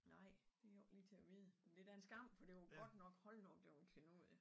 Nej det jo ikke lige til at vide men det da en skam for det var godt nok hold da op det var en klenodie